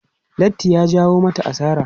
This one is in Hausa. Lattin ta ya jawo mata asara.